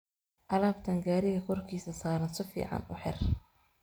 Alabtan gariga koorkisa saaran sificn uuhir.